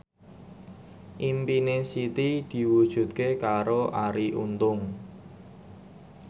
impine Siti diwujudke karo Arie Untung